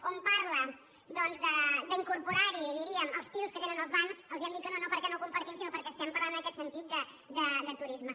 on parla doncs d’in·corporar·hi diríem els pisos que tenen els bancs els hem dit que no no perquè no ho compartim sinó per·què estem parlant en aquest sentit de turisme